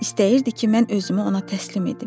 İstəyirdi ki, mən özümü ona təslim edim.